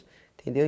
Entendeu?